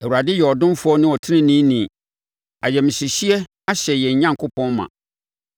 Awurade yɛ ɔdomfoɔ ne ɔteneneeni; ayamhyehyeɛ ahyɛ yɛn Onyankopɔn ma.